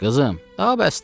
"Qızım, daha bəsdir."